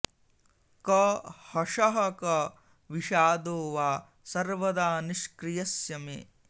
क हषः क विषादो वा सर्वदा निष्क्रियस्य मे